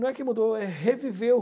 Não é que mudou, é reviveu.